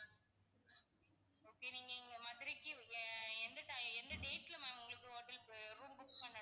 okay நீங்க இங்க மதுரைக்கு நீங்க எந்த டை~எந்த date ல ma'am உங்களுக்கு hotel அஹ் room book பண்ணணும்?